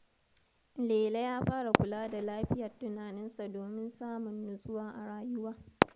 Lele ya fara kula da lafiyar tunaninsa domin samun nutsuwa a rayuwa.